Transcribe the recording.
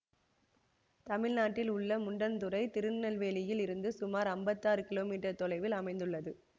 தமிழ்நாட்டில் உள்ள முண்டன்துறை திருநெல்வேலியில் இருந்து சுமார் ஐம்பத்தி ஆறு கிலோமீட்டர் தொலைவில் அமைந்துள்ளது